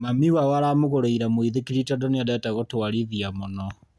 Mami wao aramũgũrĩire mũithikiri tondũ nĩendete gũtwarithia mũno